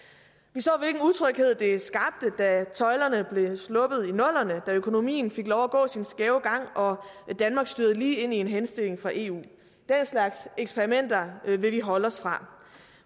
vi så hvilken utryghed det skabte da tøjlerne blev sluppet i nullerne da økonomien fik lov at gå sin skæve gang og danmark stødte lige ind i en henstilling fra eu den slags eksperimenter vil vi holde os fra